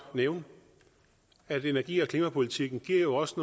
nævne at energi og klimapolitikken jo også